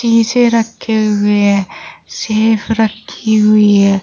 शीशे रखे हुए हैं सेफ रखी हुई है।